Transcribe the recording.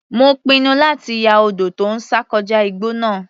Mo pinnu láti ya odò tó ń sàn kọjá igbó náà.